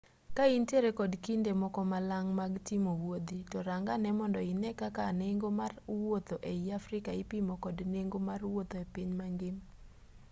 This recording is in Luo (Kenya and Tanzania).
ka intiere kod kinde moko malang' mag timo wuodhi to rang ane mondo ine kaka nengo mar wuotho ei africa ipimo kod nengo mar wuotho e piny mangima